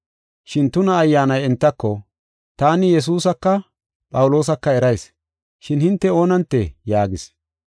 Shin tuna ayyaanay entako, “Taani Yesuusaka Phawuloosaka erayis, shin hinte oonantee?” yaagis.